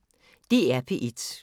DR P1